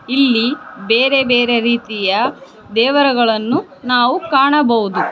ಇಲ್ಲಿ ಬೇರೆ ಬೇರೆ ರೀತಿಯ ದೇವರುಗಳನ್ನು ನಾವು ಕಾಣಬಹುದು.